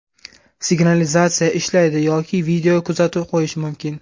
Signalizatsiya ishlaydi yoki video kuzatuv qo‘yish mumkin.